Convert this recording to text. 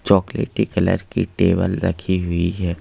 चॉकलेटी कलर की टेबल रखी हुई है।